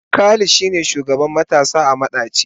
Khalid shine shugaban matasa a madaci.